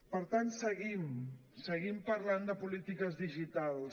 per tant seguim seguim parlant de polítiques digitals